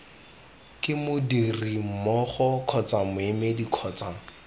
ke modirimmogo kgotsa moemedi kgotsa